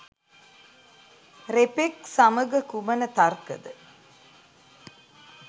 රෙපෙක් සමගකුමන තර්කද?